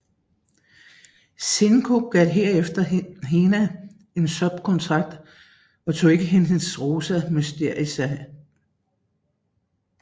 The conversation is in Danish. Shinku gav derefter Hina en subkontrakt og tog ikke hendes Rosa Mystica